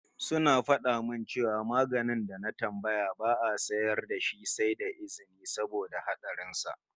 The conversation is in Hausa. Suna fada min cewa maganin da na tambaya ba'a sayar da shi sai da izini saboda hatsarin sa